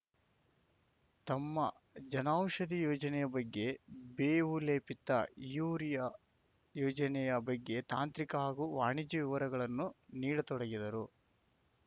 ತಮ್ಮ ಜನೌಷಧಿ ಯೋಜನೆಯ ಬಗ್ಗೆ ಬೇವು ಲೇಪಿತ ಯೂರಿಯಾ ಯೋಜನೆಯ ಬಗ್ಗೆ ತಾಂತ್ರಿಕ ಹಾಗೂ ವಾಣಿಜ್ಯ ವಿವರಗಳನ್ನು ನೀಡತೊಡಗಿದರು